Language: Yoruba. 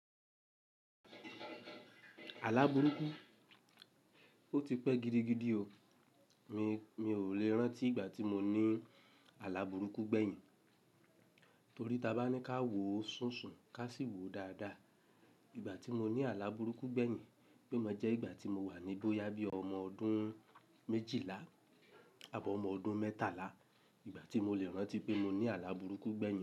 Alá burúkú, ó ti pẹ́ gidigidi o. Mi, mi ò lè rántí ìgbà tí mo ní aláburúkú gbẹ̀yìn. Torí tí a bá ní ká wo sùnsun, ká sì wo dáadáa. Ìgbà tí mo ní aláburúkú gbẹ̀yìn pé mo jẹ́ ìgbà tí mo wà ní bóyá bí ọmọ ọdún méjìlá àbọ́ ọmọ ọdún mẹ́tàlá. Ìgbà tí mo lè rántí pé mo ní aláburúkú gbẹ̀yìn.